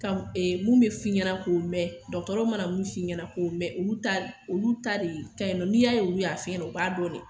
Mun bɛ fɔ i ɲɛna k'o mɛn dɔgɔtɔrɔ mana mun fɔ i ɲɛna k'o mɛn olu ta de ka ɲi n'i y'a ye olu y'a fɔ i ɲɛna u b'a dɔn de